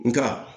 Nka